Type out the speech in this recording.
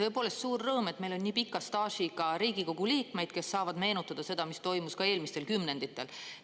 Tõepoolest, suur rõõm, et meil on nii pika staažiga Riigikogu liikmeid, kes saavad meenutada seda, mis toimus ka eelmistel kümnenditel.